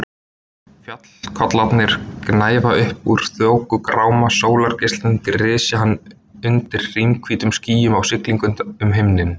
Fjallakollarnir gnæfa upp úr þokugráma, sólargeislarnir grisja hann undir hrímhvítum skýjum á siglingu um himininn.